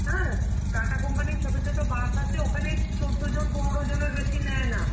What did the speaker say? হ্যাঁ? TATA company র ছোট ছোট bus আছে ওখানে চৌদ্দজন পনেরো জনের বেশি নেয় না.